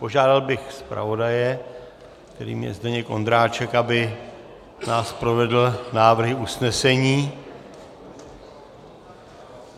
Požádal bych zpravodaje, kterým je Zdeněk Ondráček, aby nás provedl návrhy usnesení.